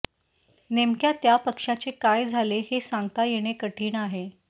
नेमक्या त्या पक्ष्याचे काय झाले हे सांगता येणे कठीण आहे